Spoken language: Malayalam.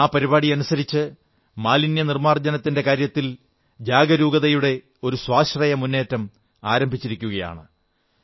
ആ പരിപാടി അനുസരിച്ച് മാലിന്യനിർമ്മാർജ്ജനത്തിന്റെ കാര്യത്തിൽ ജാഗരൂകതയുടെ ഒരു സ്വാശ്രയമുന്നേറ്റം ആരംഭിച്ചിരിക്കയാണ്